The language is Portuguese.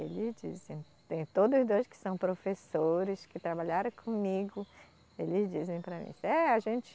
E eles dizem, tem todos dois que são professores, que trabalharam comigo, eles dizem para mim, é, a gente